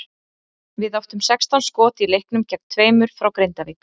Við áttum sextán skot í leiknum gegn tveimur frá Grindavík.